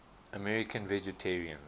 american vegetarians